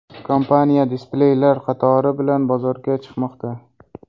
Kompaniya displeylar qatori bilan bozorga chiqmoqda.